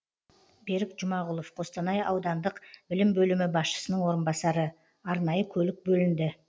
берік жұмағұлов қостанай ауданық білім бөлімі басшысының орынбасары арнайы көлік бөлінді